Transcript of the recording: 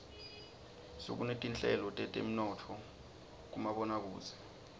sekunetinhlelo teteminotfo kumaboakudze